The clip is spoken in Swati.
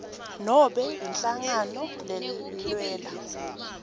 nobe inhlangano lelwela